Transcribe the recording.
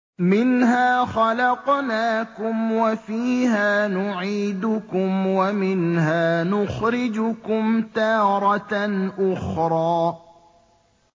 ۞ مِنْهَا خَلَقْنَاكُمْ وَفِيهَا نُعِيدُكُمْ وَمِنْهَا نُخْرِجُكُمْ تَارَةً أُخْرَىٰ